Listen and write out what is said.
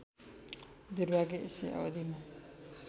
दुर्भाग्य यसै अवधिमा